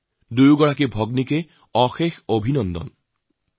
তেওঁলোক দুয়োকে বহুত বহুত অভিনন্দন জনাইছোঁ